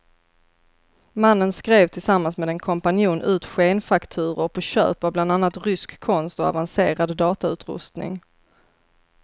Mannen skrev tillsammans med en kompanjon ut skenfakturor på köp av bland annat rysk konst och avancerad datautrustning.